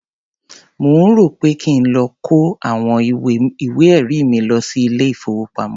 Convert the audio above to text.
Mò ń rò ó pé kí n lọ kó àwọn ìwé-ẹ̀rí mi lọ sí ilé-ìfowópamọ́.